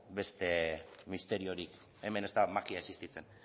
beste misteriorik hemen ez da magia existitzen